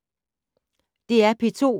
DR P2